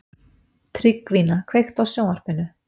Tryggvína, kveiktu á sjónvarpinu.